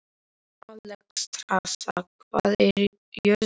Alexstrasa, hvað er jörðin stór?